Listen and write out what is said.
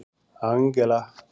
Angela